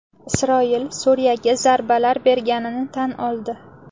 Isroil Suriyaga zarbalar berganini tan oldi.